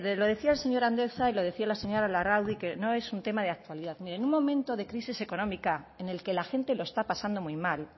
lo decía el señor andueza y lo decía la señora larrauri que no es un tema de actualidad mire en un momento de crisis económica en el que la gente lo está pasando muy mal